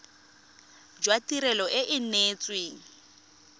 jwa tirelo e e neetsweng